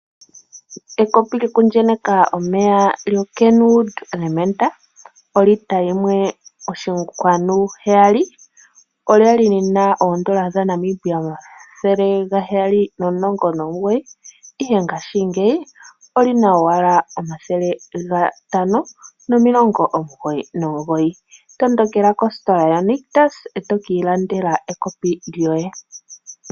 Ekopi lyokuenyeka omeya lyo'Kenwood Elementa' lyolitela yimwe oshinkwanu heyali, olya li li na oondola dhaNamibia omathele ga heyali nomulongo nomugoyi, ihe ngashingeyi oli na owala omathele gatano nomilongo omugoyi nomugoyi. Tondokela kositola ya Nictus, e to ka ilandela ekopi lyoye.